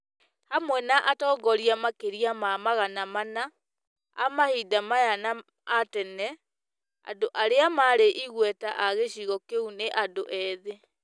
hamwe na atongoria makĩria ma magana mana , a mahinda maya na a tene, andũ arĩa marĩ igweta a gĩcigo kĩu na andũ ethĩ,